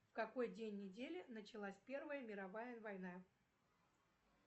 в какой день недели началась первая мировая война